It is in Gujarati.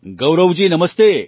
ગૌરવજી નમસ્તે